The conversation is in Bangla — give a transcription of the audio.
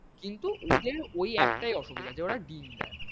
কিন্তু ওদের ঐ একটাই অসুবিধা যে ওরা ডিম দেয় না।